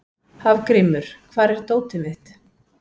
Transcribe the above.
Hafgrímur, hvar er dótið mitt?